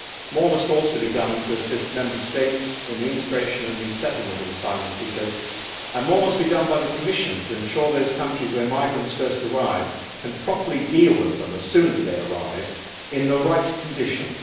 More must also be done to assist Member States in the integration and resettlement of asylum seekers, and more must be done by the Commission to ensure that those countries where migrants first arrive can properly deal with them, as soon as they arrive, in the right conditions.